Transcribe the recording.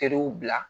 Feerew bila